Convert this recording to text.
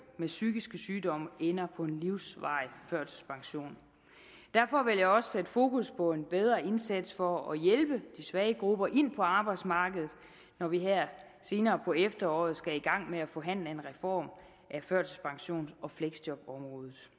med psykiske sygdomme ender på en livsvarig førtidspension derfor vil jeg også sætte fokus på en bedre indsats for at hjælpe de svage grupper ind på arbejdsmarkedet når vi her senere på efteråret skal i gang med at forhandle en reform af førtidspensions og fleksjobområdet